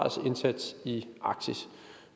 i arktis